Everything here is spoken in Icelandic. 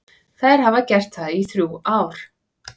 Þær hafa gert það í þrjú ár.